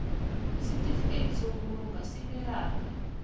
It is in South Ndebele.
isitifikedi sobulunga esinelanga